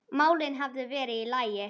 málin hefðu verið í lagi.